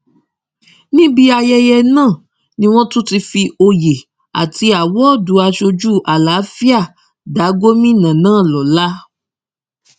níbi ayẹyẹ náà ni wọn ti tún fi oyè àti àwọdù aṣojú àlàáfíà dá gómìnà náà lọlá